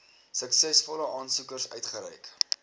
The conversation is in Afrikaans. suksesvolle aansoekers uitgereik